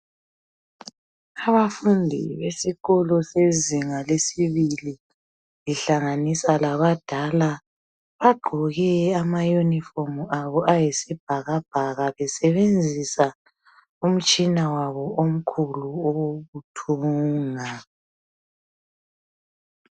Abafundi besikolo sezinga lesibili lihlanganisa labadala bagqoke ama unifomu abo ayisibhakabhaka besebenzisa umtshina wabo omkhulu owokuthunga.